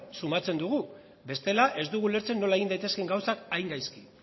sumatzen dugula bestela ez dugu ulertzen nola egin daitezkeen gauzak